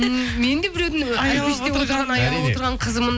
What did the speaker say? мен де біреудің қызымын